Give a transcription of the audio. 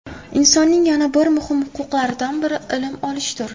Insonning yana bir muhim huquqlaridan biri ilm olishdir.